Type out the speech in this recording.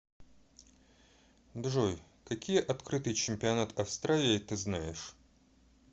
джой какие открытый чемпионат австралии ты знаешь